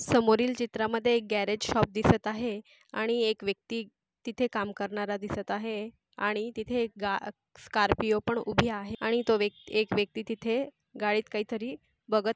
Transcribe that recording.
समोरील चित्रामध्ये एक गॅरेज शॉप दिसत आहे आणि एक व्यक्ति तिथे काम करणारा दिसत आहे आणि तिथे एक गा स्कार्पियो पण उभी आहे आणि तो व्यक्ति एक व्यक्ति तिथे गाडीत काहीतरी बघत --